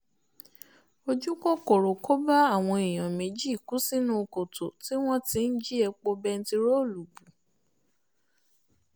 ojú kòkòrò kò bá àwọn èèyàn méjì kú sínú kòtò tí wọ́n ti ń jí epo bẹntiróòlù bù